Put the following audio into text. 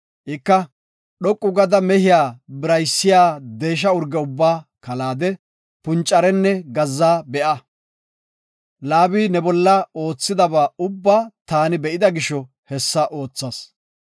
Ika, ‘Dhoqu gada mehiya biraysiya deesha urge ubba kalaade, puncarenne gazza be7a. Laabi ne bolla oothiyaba ubba taani be7ida gisho hessa oothas.